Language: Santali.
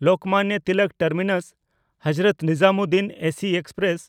Lokmanya Tilak ᱴᱟᱨᱢᱤᱱᱟᱥ–ᱦᱚᱡᱨᱚᱛ Nizamuddin AC express